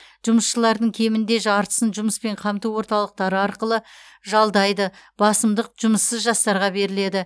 жұмысшылардың кемінде жартысын жұмыспен қамту орталықтары арқылы жалдайды басымдық жұмыссыз жастарға беріледі